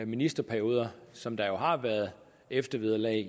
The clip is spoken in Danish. ministerperioder som der jo har været eftervederlag